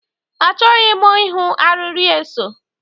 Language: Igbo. Achọghị m ịhụ arịrị eso.